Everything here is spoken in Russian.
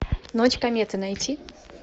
ночь кометы найти